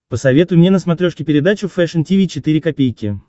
посоветуй мне на смотрешке передачу фэшн ти ви четыре ка